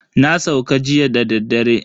Na sauka jiya dadaddare.